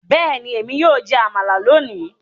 Bẹ́ẹ̀ni, èmi yóò jẹ amala lónìí